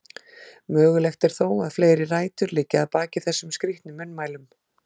Mögulegt er þó að fleiri rætur liggi að baki þessum skrítnu munnmælum.